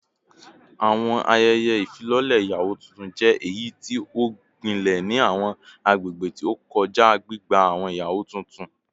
Awọn ayẹyẹ ifilọlẹ iyawo tuntun jẹ eyiti o gbilẹ ni awọn agbegbe ti o kọja, gbigba awọn iyawo tuntun